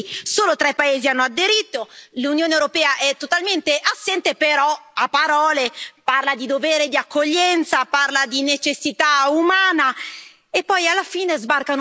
L'Unione europea è totalmente assente, però, a parole, parla di dovere di accoglienza, parla di necessità umana e poi alla fine sbarcano tutti esclusivamente in Italia.